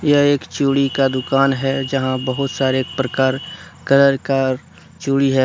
यह एक चूड़ी का दुकान है जहां बहुत सारे प्रकार कलर का चूड़ी है।